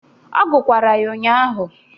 Ọ gukwara ya ụnyaahụ